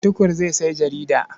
Tukur zai sayi jarida.